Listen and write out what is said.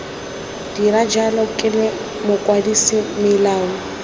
dira jalo ke mokwadise melao